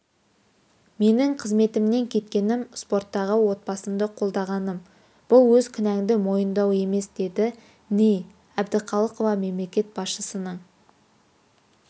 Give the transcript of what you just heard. менің қызметімнен кеткенім спорттағы отбасымды қолдағаным бұл өз кінәңді мойындау емес деді ни әбдіқалықова мемлекет басшысының